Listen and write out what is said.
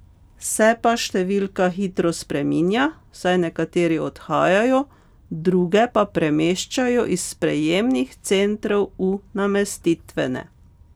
Se pa številka hitro spreminja, saj nekateri odhajajo, druge pa premeščajo iz sprejemnih centrov v namestitvene.